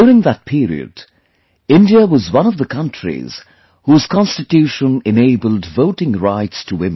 During that period, India was one of the countries whose Constitution enabled Voting Rights to women